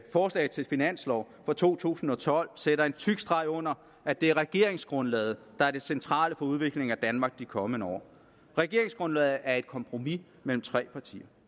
forslag til finanslov for to tusind og tolv sætter en tyk streg under at det er regeringsgrundlaget der er det centrale for udviklingen af danmark i de kommende år regeringsgrundlaget er et kompromis mellem tre partier